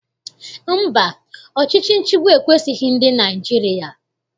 Mba, ọchịchị nchịgbu ekwesighị ndị Naịjirịa.